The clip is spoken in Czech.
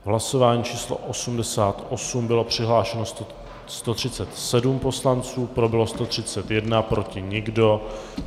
V hlasování číslo 88 bylo přihlášeno 137 poslanců, pro bylo 131, proti nikdo.